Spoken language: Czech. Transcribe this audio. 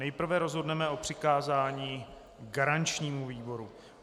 Nejprve rozhodneme o přikázání garančnímu výboru.